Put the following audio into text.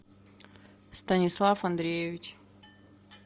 станислав андреевич